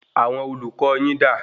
Àwọn olùkọ yín dà?